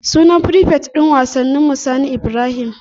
Sunan frifet din wasanninmu Sani Ibrahim.